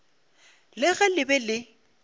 le ge le be le